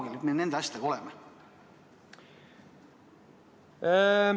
Kui kaugel me nende asjadega oleme?